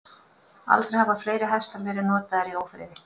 Aldrei hafa fleiri hestar verið notaðir í ófriði.